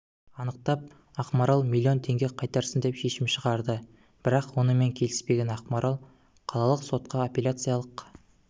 анықтап ақмарал миллион теңге қайтарсын деп шешім шығарды бірақ онымен келіспеген ақмарал қалалық сотқа апелляциялық